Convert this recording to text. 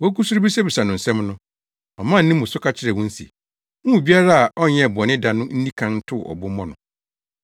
Wogu so rebisabisa no nsɛm no, ɔmaa ne mu so ka kyerɛɛ wɔn se, “Mo mu biara a ɔnyɛɛ bɔne da no nni kan ntow ɔbo mmɔ no.”